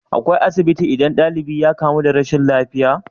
Akwai asibitin idan dalibi ya kamu da rashin lafiya?